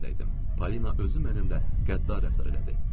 Polina özü mənimlə qəddar rəftar elədi.